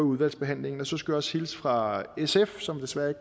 udvalgsbehandlingen så skulle jeg også hilse fra sf som desværre